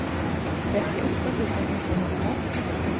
trettioåtta tusen niohundra